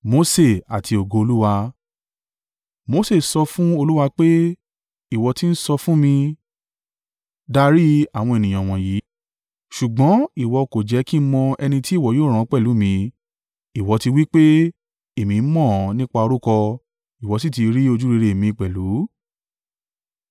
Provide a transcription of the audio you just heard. Mose sọ fún Olúwa pé, “Ìwọ ti ń sọ fún mi, ‘Darí àwọn ènìyàn wọ̀nyí,’ ṣùgbọ́n ìwọ kò jẹ́ kí ń mọ ẹni tí ìwọ yóò rán pẹ̀lú mi. Ìwọ ti wí pé, ‘Èmi mọ̀ ọ́n nípa orúkọ, ìwọ sì ti rí ojúrere mi pẹ̀lú.’